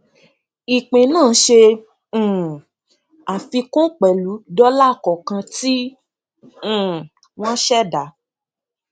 ìpín náà ṣe um àfikún pẹlú dọlà kọọkan tí um wọn ṣẹdá